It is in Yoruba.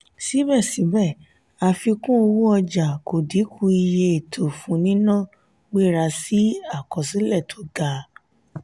sibẹsibẹ àfikún owó ọjà kò dínkù iye ètò fún nínà gbéra sí akọsilẹ tí ga.